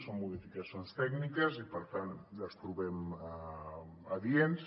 són modificacions tècniques i per tant les trobem adients